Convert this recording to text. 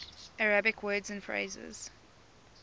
arabic words and phrases